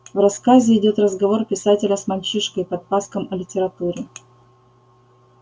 в рассказе идёт разговор писателя с мальчишкой-подпаском о литературе